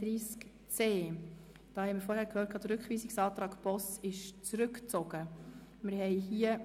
Wir haben vorhin gehört, dass der Rückweisungsantrag Boss zurückgezogen ist.